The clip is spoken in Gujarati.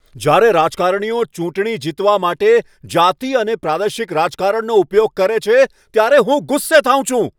જ્યારે રાજકારણીઓ ચૂંટણી જીતવા માટે જાતિ અને પ્રાદેશિક રાજકારણનો ઉપયોગ કરે છે ત્યારે હું ગુસ્સે થાઉં છું.